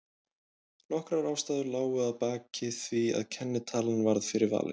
Nokkrar ástæður lágu að baki því að kennitalan varð fyrir valinu.